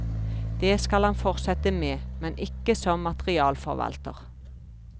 Det skal han fortsette med, men ikke som materialforvalter.